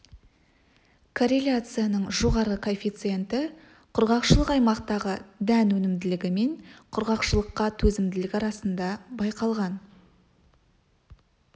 корреляцияның жоғары коэффиценті құрғақшылық аймақтағы дән өнімділігі мен құрғақшылыққа төзімділік арасында байқалған